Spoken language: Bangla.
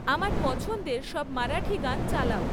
আমার পছন্দের সব মারাঠী গান চালাও